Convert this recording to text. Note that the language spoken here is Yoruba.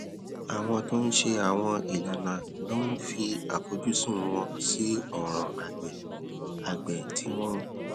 àwọn tó ń ṣe àwọn ìlànà ló ń fi àfojúsùn wọn sí òràn àgbè àgbè tí wọn